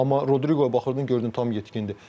Amma Rodriga baxırdın gördün tam yetkindir.